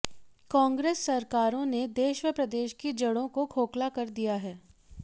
कांग्रेस सरकारों ने देश व प्रदेश की जड़ों को खोखला कर दिया है